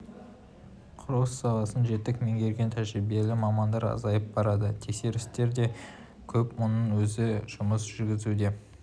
құрылыс саласын жетік меңгерген тәжірибелі мамандар азайып барады тексерістер де көп мұның өзі жұмыс жүргізуге